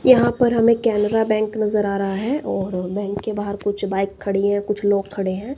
यहां पर हमें केनरा बैंक नजर आ रहा है और बैंक के बाहर कुछ बाइक खड़ी हैं कुछ लोग खड़े हैं।